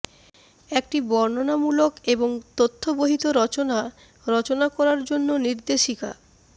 একটি বর্ণনামূলক এবং তথ্যবহিত রচনা রচনা করার জন্য নির্দেশিকা